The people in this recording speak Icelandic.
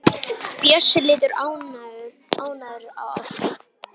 Bjössi lítur ánægður til Ásu.